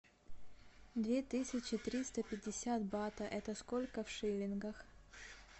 две тысячи триста пятьдесят бата это сколько в шиллингах